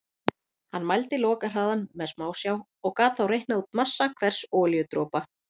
Hann mældi lokahraðann með smásjá og gat þá reiknað út massa hvers olíudropa.